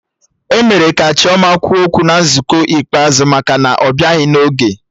E mere ka Chioma kwụọ ụgwọ na nzukọ ikpeazụ maka na ọbịaghị n'oge